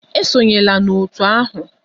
Esonyela na otu ahụ!